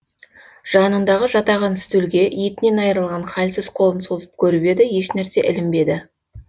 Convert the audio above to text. жанындағы жатаған стөлге етінен айрылған халсіз қолын созып көріп еді еш нәрсе ілінбеді